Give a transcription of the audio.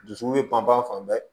Dusuku bɛ pan pan fan bɛɛ